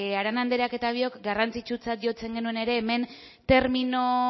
arana andereak eta biok garrantzitsutzat jotzen ere hemen termino